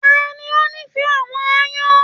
Tani o n'ifẹ àwọn aáyán?